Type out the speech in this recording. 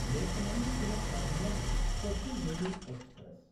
Lokmanya Tilak टर्मिनस्–कोचुवेली express